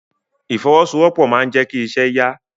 Ìfọwọ́sowọ́pọ̀ máa n jẹ kí iṣẹ́ ya.